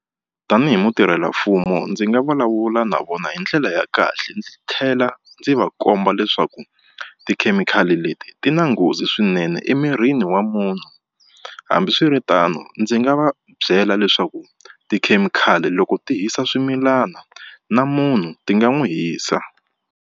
Tanihi mutirhelamfumo ndzi nga vulavula na vona hi ndlela ya kahle ndzi tlhela ndzi va komba leswaku tikhemikhali leti ti na nghozi swinene emirini yini wa munhu hambiswiritano ndzi nga va byela leswaku tikhemikhali loko ti hisa swimilana na munhu ti nga n'wi hisa.